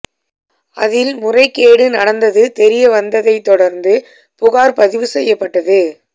அதில் முறைகேடு நடந்தது தெரிய வந்ததைத் தொடர்ந்து புகார் பதிவு செய்யப்பட்டது